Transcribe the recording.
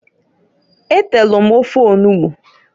E telu m ofe onugbu.